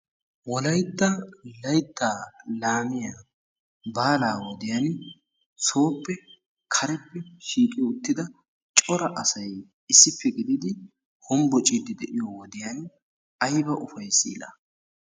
wolaytta laytta laammiya baalaa wodiyaan sooppe kareppe shiiqi uttida coraa asay issippe gididi hombboccide de'iyo wodiyaan aybba ufayssi laa!